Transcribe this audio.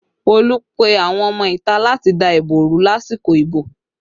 Olú pe àwọn ọmọ ìta láti dá ìbò rú lásìkò ìbò